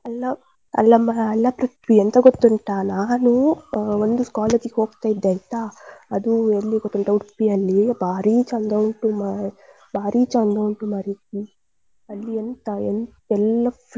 ಅಲ್ಲ ಅಲ್ಲಮ್ಮ ಅಲ್ಲ ಪೃಥ್ವಿ ಎಂತ ಗೊತ್ತುಂಟಾ ನಾನು ಅಹ್ ಒಂದು college ಗೆ ಹೋಗ್ತಾ ಇದ್ದೆ ಆಯ್ತಾ, ಅದು ಎಲ್ಲಿ ಗೊತ್ತುಂಟಾ Udupi ಯಲ್ಲಿ ಭಾರಿ ಚಂದ ಉಂಟು ಮ~ ಭಾರಿ ಚಂದ ಉಂಟು ಮಾರಾಯ್ತಿ ಅಲ್ಲಿ ಎಂತಾ ಎಲ್ಲ free .